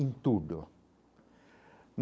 em tudo.